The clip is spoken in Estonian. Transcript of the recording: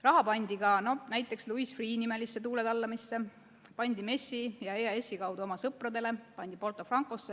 Raha pandi ka näiteks Louis Freeh nimelisse tuuletallamisse, pandi MES-i ja EAS-i kaudu oma sõpradele, pandi Porto Francosse.